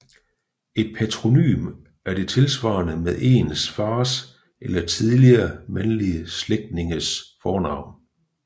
Et patronym er det tilsvarende med ens fars eller tidligere mandlige slægtninges fornavn